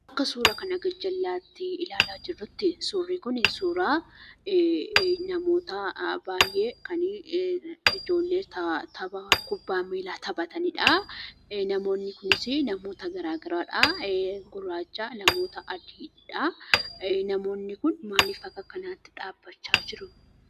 Akka suuraa kana gara jalaatti ilaalaa jirrutti suurri kun suura namoota baay'ee kan ijoollee kubbaa miilaa taphataniidha. Namoonni kunneenis namoota garaagaraadha: gurraacha, namoota adiidha. Namoonni kun maaliif akka kanaatti dhaabbachaa jiru?